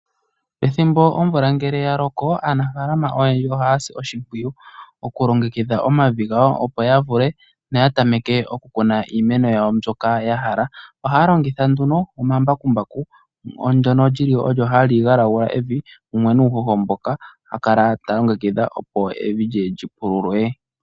Pethimbo omvula ngele ya loko aanafaalama oyendji ohaya si oshimpwiyu okulongekidha omavi gawo, opo ya vule noya tameke okukuna iimeno yawo mbyoka ya hala. Ohaa longitha nduno omambakumbaku ndono lyili olyo hali galagula evi mumwe nuuhoho mboka a kala ta longekidha opo evi lye lyi pululwe.